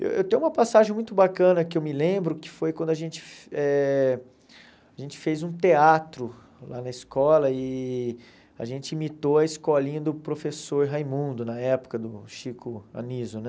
Eu tenho uma passagem muito bacana que eu me lembro, que foi quando a gente eh a gente fez um teatro lá na escola e a gente imitou a escolinha do professor Raimundo, na época do Chico Aniso, né?